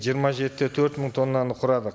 жиырма жеті де төрт мың тоннаны құрады